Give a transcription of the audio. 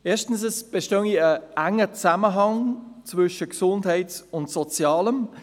Erstens bestehe ein enger Zusammenhang zwischen Gesundheit und Sozialem.